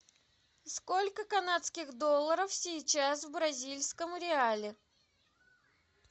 сколько канадских долларов сейчас в бразильском реале